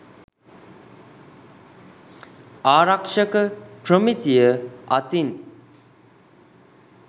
ආරක්ෂක ප්‍රමිතිය අතින්